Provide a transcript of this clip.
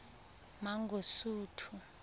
mangosuthu